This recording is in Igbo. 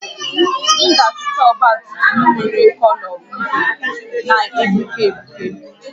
M ga-azụta ọgba tum tum nwere kọlọ uhie na-egbuke egbuke